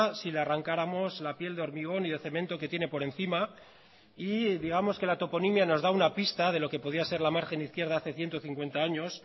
si le arrancáramos la piel de hormigón y de cemento que tiene por encima y digamos que la toponimia nos da una pista de lo que podía ser la margen izquierda hace ciento cincuenta años